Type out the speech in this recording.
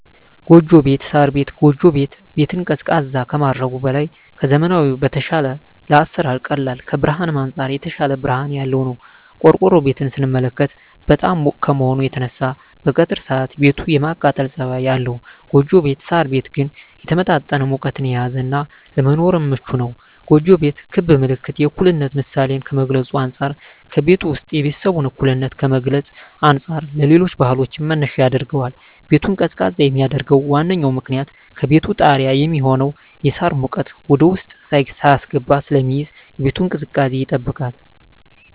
ጎጆ ቤት(ሳር ቤት)። ጎጆ ቤት ቤትን ቀዝቃዛ ከማድረጉም በላይ ከዘመናዊዉ በተሻለ ለአሰራር ቀላል ከብርሀንም አንፃር የተሻለ ብርሀን ያለዉ ነዉ። ቆርቆሮ ቤትን ስንመለከት በጣም ሙቅ ከመሆኑ የተነሳ በቀትር ሰአት ቤቱ የማቃጠል ፀባይ አለዉ ጎጆ ቤት (ሳር ቤት) ግን የተመጣጠነ ሙቀትን የያዘ እና ለመኖርም ምቹ ነዉ። ጎጆ ቤት ክብ ምልክት የእኩልነት ምሳሌን ከመግልፁ አንፃ ከቤቱ ዉስጥ የቤተሰቡን እኩልነት ከመግለፅ አንፃር ለሌሎች ባህሎችም መነሻ ያደርገዋል። ቤቱን ቀዝቃዛ የሚያደርገዉ ዋነኛዉ ምክንያት ከቤቱ ጣሪያ የሚሆነዉ የሳር ሙቀት ወደዉስጥ ሳይስገባ ስለሚይዝ የቤቱን ቅዝቃዜ ይጠብቃል።